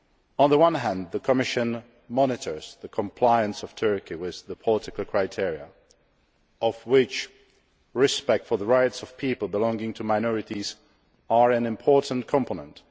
On the one hand the Commission monitors the compliance of Turkey with the political criteria, of which respect for the rights of people belonging to minorities is an important component.